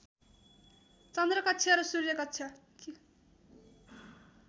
चन्द्र कक्ष र सूर्य कक्ष